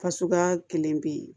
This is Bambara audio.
Fasuguya kelen bɛ yen